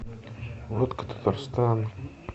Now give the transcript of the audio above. водка татарстан